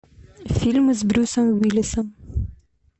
фильмы с брюсом уиллисом